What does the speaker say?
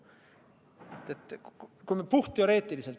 Me räägime puhtteoreetiliselt.